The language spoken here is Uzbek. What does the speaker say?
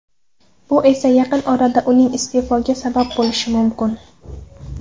Bu esa yaqin orada uning iste’fosiga sabab bo‘lishi mumkin.